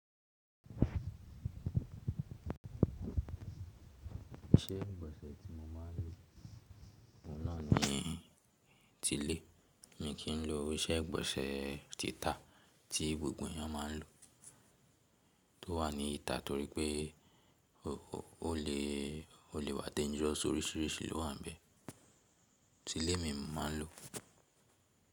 Iṣẹ́ ìgbọ̀nsẹ̀ tí mo máa ń lò náà ni ti ile, mo kì í lò iṣẹ́ ìgbọ̀nsẹ̀ títà tí gbogbo èèyàn máa ń lò tó wà ní ìta torí pé ó lè wá dangerous oríṣìíríṣìí ló wà níbẹ̀. Tile ni mo máa ń lò.